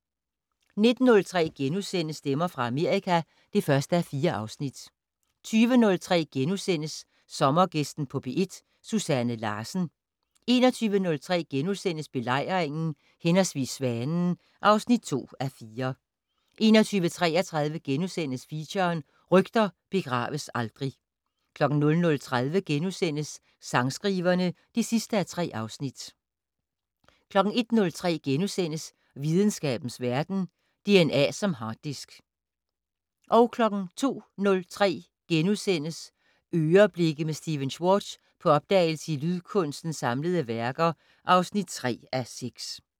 19:03: Stemmer fra Amerika (1:4)* 20:03: Sommergæsten på P1: Susanne Larsen * 21:03: Belejringen/Svanen (2:4)* 21:33: Feature: Rygter begraves aldrig * 00:30: Sangskriverne (3:3)* 01:03: Videnskabens Verden: DNA som harddisk * 02:03: "Øreblikke" med Stephen Schwartz - på opdagelse i en lydkunstners samlede værker (3:6)*